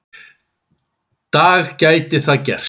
dag gæti það gerst.